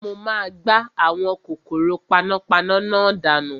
Mo máa gbá àwọn kòkòrò panápaná náà dànù